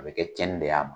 A bɛ kɛ tiɲɛni de y'a ma